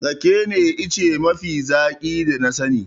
Rake ne ice mafi zaƙi da na sani.